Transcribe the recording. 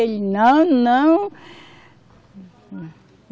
Ele, não, não.